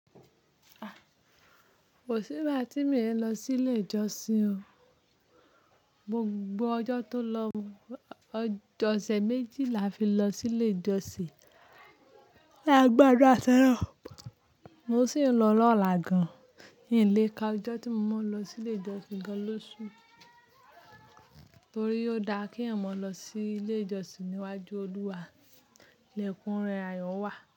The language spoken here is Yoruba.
Kò sí ìgbà tí mi ò lọ sí ilé ìjọsìn o. Mo gbogbo ọjọ́ tó lọ, ọṣẹ̀ méjì la fi lọ sí ilé ìjọsìn. Là gbádura si olorun Mo sì ń lọ lọ́la gan-an. N lé ka ọjọ́ tí mo máa lọ sí ilé ìjọsìn gan-an lóṣù. Nítorí ó da kí èèyàn mọ lọ sí ilé ìjọsìn níwájú Olúwa. Ni ekun ùn rẹ ayọ̀ wà.